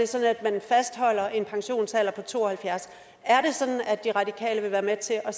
sådan at man fastholder en pensionsalder på to og halvfjerds år er det sådan at de radikale vil være med til at